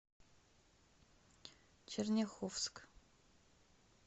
черняховск